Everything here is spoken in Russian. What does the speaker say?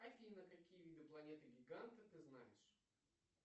афина какие виды планеты гиганты ты знаешь